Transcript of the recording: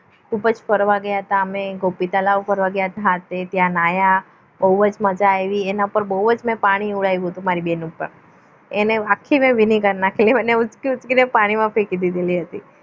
ખૂબ જ ફરવા ગયા હતા અમે ગોપી તળાવ ફરવા ગયા હતા ત્યાં નાહ્યા બહુ જ મજા આવી એના પર બહુ જ પાણી ઉડાવ્યું હતું મારી બેન ઉપર ભીની કર નાખેલી એને મને ઊંચકી ઊંચકીને પાણીમાં ફેંકી દીધેલી હતી